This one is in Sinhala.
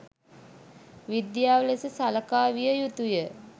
විද්‍යාව ලෙස සලකා විය යුතුය.